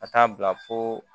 Ka taa bila fo